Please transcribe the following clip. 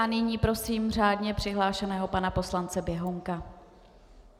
A nyní prosím řádně přihlášeného pana poslance Běhounka.